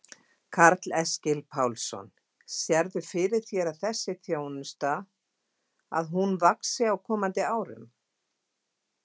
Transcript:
Karl Eskil Pálsson: Sérðu fyrir þér að þessi þjónusta að hún vaxi á komandi árum?